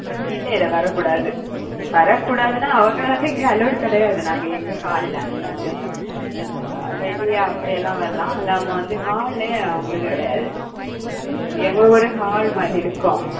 இல்லை இல்லை வரக் கூடாது. வரக்கூடாதுன்னா அவங்களை வந்து இங்கே allowed கிடையாது நாங்க எங்க hall ல. அஹ் வெளிய அப்படி எல்லாம் வரலாம் நம்ப வந்து hall லே அவங்களுக்கு கிடையாது எங்களோடது hall மாதிரி இருக்கும்